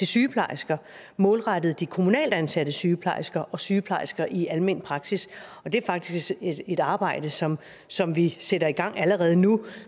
sygeplejersker målrettet de kommunalt ansatte sygeplejersker og sygeplejersker i almen praksis det er faktisk et arbejde som som vi sætter i gang allerede nu